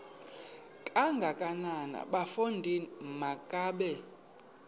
kangakanana bafondini makabe